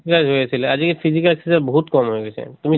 exercise হৈ আছিলে আজি physical exercise বহুত কম হৈ গৈছে। তুমি